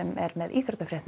er með íþróttafréttir